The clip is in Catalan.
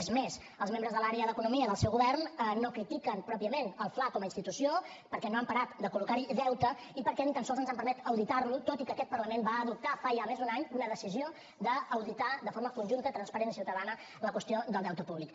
és més els membres de l’àrea d’economia del seu govern no critiquen pròpiament el fla com a institució perquè no han parat de col·locar hi deute i perquè ni tan sols ens han permès auditar lo tot i que aquest parlament va adoptar fa ja més d’un any una decisió d’auditar de forma conjunta transparent i ciutadana la qüestió del deute públic